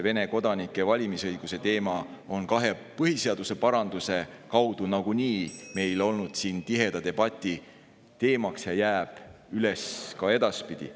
Vene kodanike valimisõiguse teema on kahe põhiseaduse paranduse kaudu nagunii meil siin tiheda debati teemaks olnud ja jääb üles ka edaspidi.